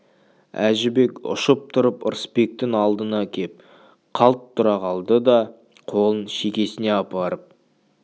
әжібек ұшып тұрып ырысбектің алдына кеп қалт тұра қалды да қолын шекесіне апарып